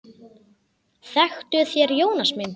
Þektuð þér Jónas minn?